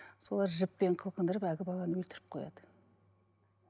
солар жіппен қылқындырып әлгі баланы өлтіріп қояды